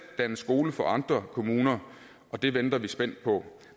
danne skole for andre kommuner det venter vi spændt på